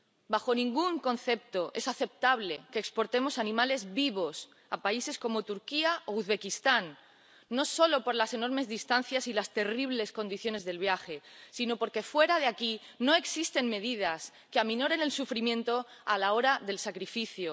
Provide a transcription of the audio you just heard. Bajo ningún concepto es aceptable que exportemos animales vivos a países como Turquía o Uzbekistán, no solo por las enormes distancias y las terribles condiciones del viaje, sino porque fuera de aquí no existen medidas que aminoren el sufrimiento a la hora del sacrificio.